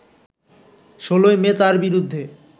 ১৬ই মে তার বিরুদ্ধে